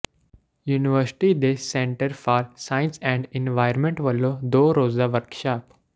university ਦੇ centre for science and environment ਵਲੋਂ ਦੋ ਰੋਜ਼ਾ ਵਰਕਸ਼ਾਪ